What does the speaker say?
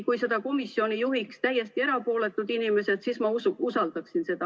Kui seda komisjoni juhiks täiesti erapooletud inimesed, siis ma usaldaksin seda.